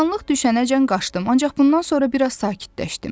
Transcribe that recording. Qaranlıq düşənəcən qaçdım, ancaq bundan sonra bir az sakitləşdim.